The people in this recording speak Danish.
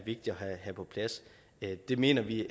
have på plads det mener vi